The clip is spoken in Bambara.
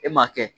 E m'a kɛ